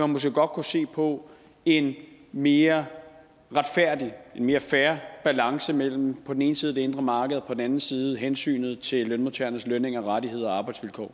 måske godt kunne se på en mere retfærdig en mere fair balance mellem på den ene side det indre marked og på den anden side hensynet til lønmodtagernes lønninger rettigheder